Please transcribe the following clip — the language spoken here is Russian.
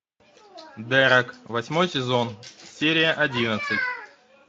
дерек восьмой сезон серия одиннадцать